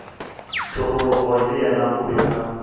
thogorogo le yena o be